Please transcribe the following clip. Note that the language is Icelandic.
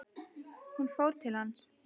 Hún fór til hans.